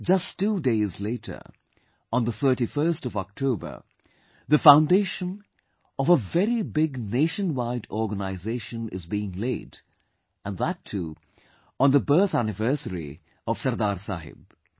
Just two days later, on the 31st of October, the foundation of a very big nationwide organization is being laid and that too on the birth anniversary of Sardar Sahib